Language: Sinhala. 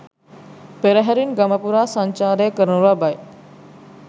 පෙරහැරින් ගම පුරා සංචාරය කරනු ලබයි